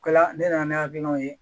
O kɛla ne nana ni hakilinaw ye